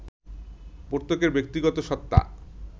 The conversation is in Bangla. প্রত্যেকের ব্যক্তিগত সত্তা